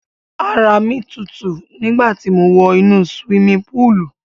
Ara mi tutu nígbà ti mo wọ inú siwimi púùlù.